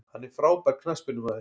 Hann er frábær knattspyrnumaður.